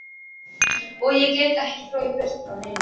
Og ég get ekki flogið burt frá neinu.